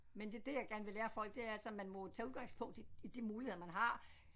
Men det er det jeg gerne vil lære folk det er altså man må tage udgangspunkt i i de muligheder man har